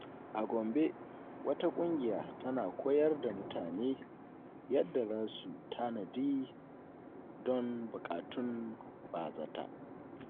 A Gombe, wata kungiya tana koyar da mutane yadda za su tanadi don bukatun ba-zata.